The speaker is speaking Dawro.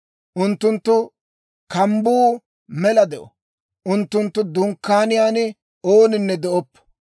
Unttunttu kambbuu mela de'o; unttunttu dunkkaaniyaan ooninne de'oppo.